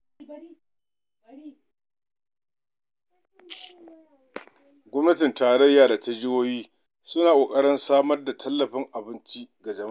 Gwamnatin tarayya da ta jihohi suna ƙoƙarin samar da tallafin abinci ga jama'a.